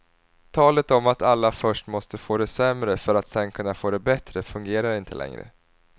Talet om att alla först måste få det sämre för att sedan kunna få det bättre fungerar inte längre.